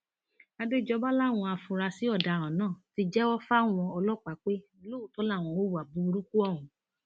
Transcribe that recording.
àdéjọba làwọn afurasí ọdaràn náà ti jẹwọ fáwọn ọlọpàá pé lóòótọ làwọn hùwà burúkú ọhún